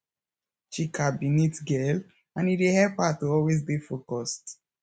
chika be neat girl and e dey help her to always dey focused